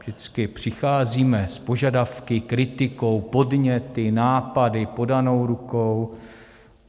Vždycky přicházíme s požadavky, kritikou, podněty, nápady, podanou rukou.